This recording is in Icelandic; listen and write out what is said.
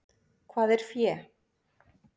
Hvað er fé?